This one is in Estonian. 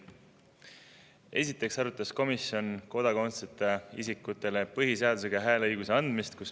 Esiteks arutas komisjon kodakondsuseta isikutele põhiseadusega hääleõiguse andmist.